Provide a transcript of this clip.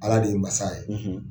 Ala de ye masa ye